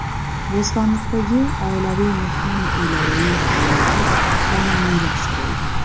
Bo‘stonliqdagi oilaviy mehmon uylarining faoliyati qonuniylashtirildi.